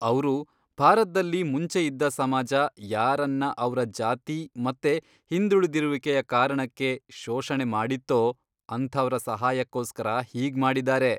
ಅವ್ರು ಭಾರತ್ದಲ್ಲಿ ಮುಂಚೆ ಇದ್ದ ಸಮಾಜ ಯಾರನ್ನ ಅವ್ರ ಜಾತಿ ಮತ್ತೆ ಹಿಂದುಳಿದಿರುವಿಕೆಯ ಕಾರಣಕ್ಕೆ ಶೋಷಣೆ ಮಾಡಿತ್ತೋ ಅಂಥವ್ರ ಸಹಾಯಕ್ಕೋಸ್ಕರ ಹೀಗ್ ಮಾಡಿದಾರೆ.